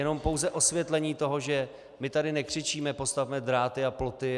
Jenom pouze osvětlení toho, že my tady nekřičíme: Postavme dráty a ploty!